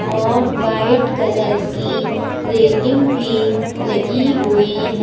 और white colour की railing भी लगी हुई है।